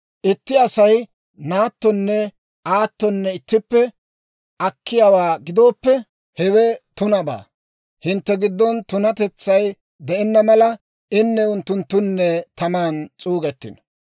Itti Asay naattonne aattonne ittippe akkiyaawaa gidooppe, hewe tunabaa; hintte giddon tunatetsay de'enna mala, inne unttunttunne taman s'uugettino.